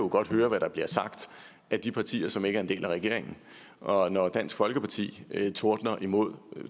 høre hvad der bliver sagt af de partier som ikke er en del af regeringen og når dansk folkeparti tordner imod